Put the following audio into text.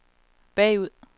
bagud